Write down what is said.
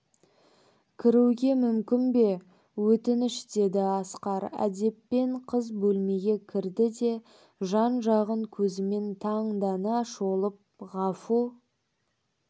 кіруге мүмкін бе өтініш деді асқар әдеппен қыз бөлмеге кірді де жан-жағын көзімен таңдана шолып ғафу